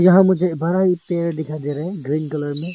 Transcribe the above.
यहा मुझे बड़ा ही पेड़ दिखाई दे रहा है ग्रीन कलर में।